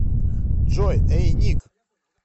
джой эй ник